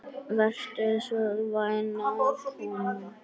Vertu svo vænn að koma.